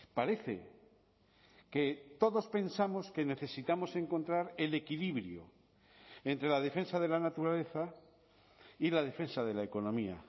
parece que todos pensamos que necesitamos encontrar el equilibrio entre la defensa de la naturaleza y la defensa de la economía